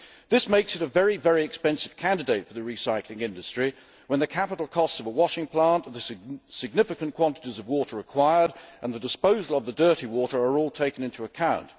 This makes it a very expensive candidate for the recycling industry when the capital costs of a washing plant, of the significant quantities of water required and the disposal of the dirty water are all taken into account.